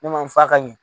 Ne ma f'a ka ɲɛ